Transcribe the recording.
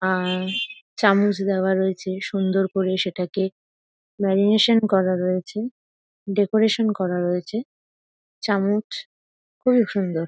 আর চামচ দেওয়া রয়েছে সুন্দর করে সেটাকে ল্যামিনেশন করা রয়েছে ডেকোরেশন করা রয়েছে চামচ খুবই সুন্দর।